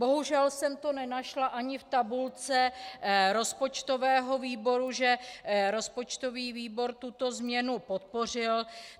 Bohužel jsem to nenašla ani v tabulce rozpočtového výboru, že rozpočtový výbor tuto změnu podpořil.